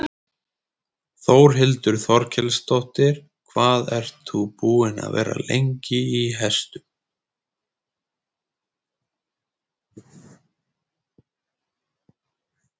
Þórhildur Þorkelsdóttir: Hvað ert þú búin að vera lengi í hestum?